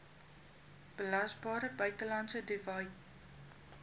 belasbare buitelandse dividend